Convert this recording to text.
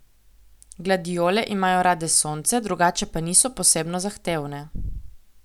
Gladijole imajo rade sonce, drugače pa niso posebno zahtevne.